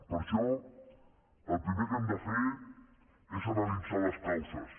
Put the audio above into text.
per això el primer que hem de fer és analitzar les causes